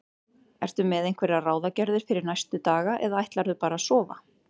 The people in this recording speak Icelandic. Ertu með einhverjar ráðagerðir fyrir næstu daga eða ætlarðu bara að sofa?